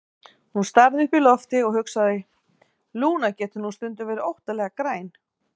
Hún starði upp í loftið og hugsaði: Lúna getur nú stundum verið óttalega græn.